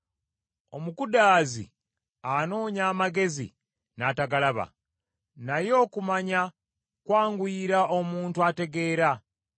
Omukudaazi anoonya amagezi n’atagalaba, naye okumanya kwanguyira omuntu ategeera.